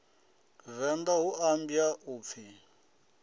venḓa hu ambwa u pfi